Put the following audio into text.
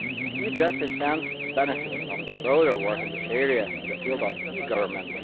E Justice stands to benefit from the broader work in this area in the field of e Government.